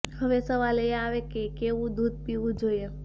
હવે સવાલ એ આવે કે કેવું દૂધ પીવું જોઈએ